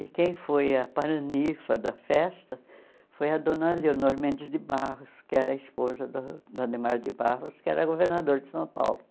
E quem foi a paraninfa da festa foi a dona Leonor Mendes de Barros, que era a esposa do do Adhemar de Barros, que era governador de São Paulo.